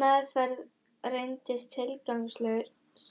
Meðferð reyndist tilgangslaus,